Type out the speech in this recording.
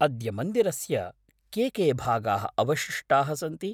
अद्य मन्दिरस्य के के भागाः अवशिष्टाः सन्ति?